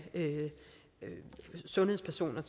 sundhedspersoner